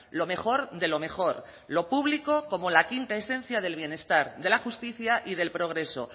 lo mejor de lo mejor lo público como la quinta esencia del bienestar de la justicia y del progreso